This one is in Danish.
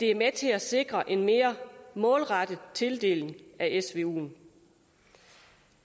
er med til at sikre en mere målrettet tildeling af svuen